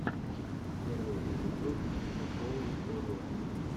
первый эпизод зэпоулфорю